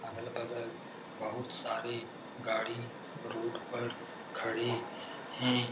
अगल-बगल बहुत सारे गाड़ी रोड पर खड़े हैं।